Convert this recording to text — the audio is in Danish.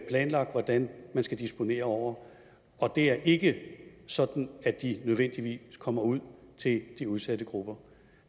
planlagt hvordan man skal disponere over og det er ikke sådan at de nødvendigvis kommer ud til de udsatte grupper